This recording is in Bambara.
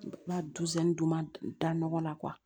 N ka dusɛn duman da nɔgɔ la